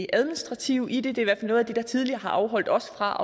administrative i det det er noget af det der tidligere har afholdt os fra